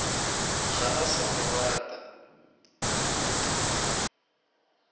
ga a sa mo rata